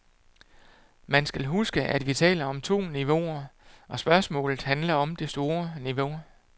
Man skal huske, at vi taler om to niveauer, og spørgsmålet handler om det store niveau.